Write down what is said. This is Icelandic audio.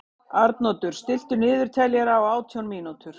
Arnoddur, stilltu niðurteljara á átján mínútur.